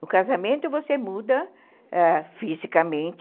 No casamento, você muda ãh fisicamente,